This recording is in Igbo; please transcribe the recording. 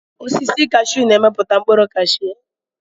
Osisi kashiu na-emepụta mkpụrụ kashiu.